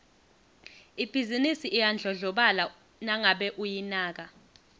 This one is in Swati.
ibhizinisi iyadlondlobala nangabe uyinaka